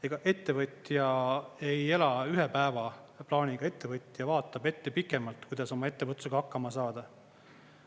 Ega ettevõtja ei ela ühe päeva plaaniga, ettevõtja vaatab ette pikemalt, kuidas oma ettevõtlusega hakkama saada.